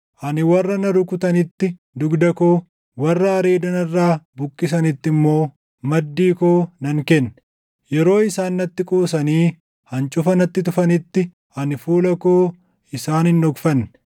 Ani warra na rukutanitti dugda koo, warra areeda narraa buqqisanitti immoo maddii koo nan kenne; yeroo isaan natti qoosanii hancufa natti tufanitti, ani fuula koo isaan hin dhokfanne.